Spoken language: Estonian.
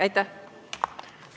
Aitäh!